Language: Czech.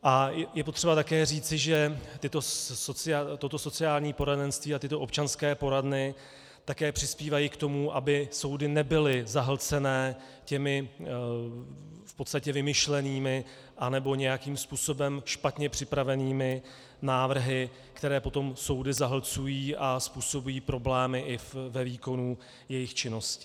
A je potřeba také říci, že toto sociální poradenství a tyto občanské poradny také přispívají k tomu, aby soudy nebyly zahlcené těmi v podstatě vymyšlenými nebo nějakým způsobem špatně připravenými návrhy, které potom soudy zahlcují a způsobují problémy i ve výkonu jejich činnosti.